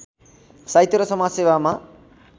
साहित्य र समाजसेवामा